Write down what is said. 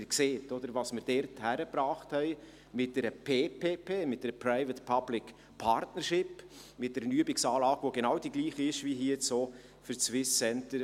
Sie sehen, was wir dort hingekriegt haben mit einer Private Public Partnership (PPP), mit einer Übungsanlage, welche die Gleiche ist wie auch hier beim SCDH.